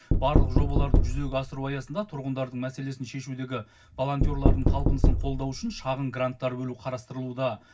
барлық жобаларды жүзеге асыру аясында тұрғындардың мәселесін шешудегі волонтерлардың талпынысын қолдау үшін шағын гранттар бөлу қарастырылуда